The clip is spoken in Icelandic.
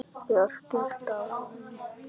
Björk er dáin.